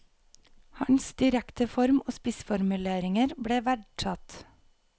Hans direkte form og spissformuleringer ble verdsatt.